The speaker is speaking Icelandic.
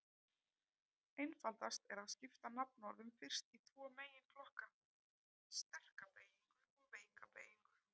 Einfaldast er að skipta nafnorðum fyrst í tvo meginflokka: sterka beygingu og veika beygingu.